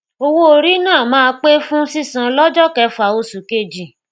owó orí náà máa pé fún sísan lọjọ kẹfà osù kejì